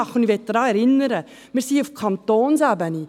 Ich möchte daran erinnern, dass wir uns auf Kantonsebene befinden.